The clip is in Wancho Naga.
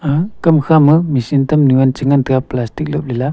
ah kam khama machine tamli te che ngan taega plastic lap ley liya.